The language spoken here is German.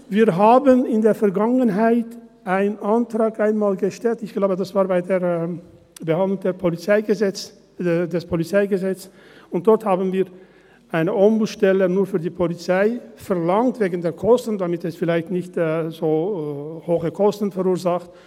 Wir haben in der Vergangenheit einmal einen Antrag gestellt – ich glaube, das war bei der Behandlung des PolG –, und dort haben wir eine Ombudsstelle nur für die Polizei verlangt, wegen der Kosten, damit es vielleicht nicht so hohe Kosten verursacht.